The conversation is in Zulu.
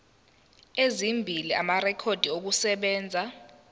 ezimbili amarekhodi okusebenza